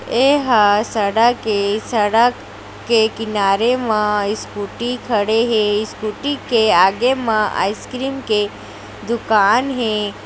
एह सड़क है सड़क के किनारे मा स्कूटी खड़े हैं स्कूटी के आगे मा आइसक्रीम के दुकान है।